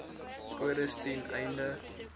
kodes ten einde